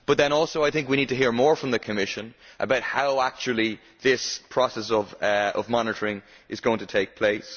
I think too that we need to hear more from the Commission about how actually this process of monitoring is going to take place.